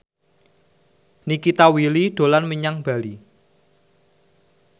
Nikita Willy dolan menyang Bali